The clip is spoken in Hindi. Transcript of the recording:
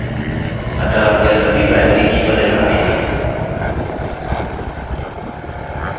अतः यह सभी primary की पर निर्भर नहीं है